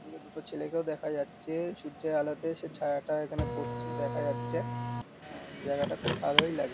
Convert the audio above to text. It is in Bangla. এদিকে দুটো ছেলেকে দেখা যাচ্ছে সূর্যের আলোতে সে ছায়া টায়া ওখানে পড়ছে দেখা যাচ্ছে অ্যান্ড জায়গাটা খুব ভালোই লাগছে।